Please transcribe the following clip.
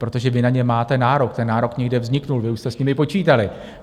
Protože vy na ně máte nárok, ten nárok někde vznikl, vy už jste s nimi počítali.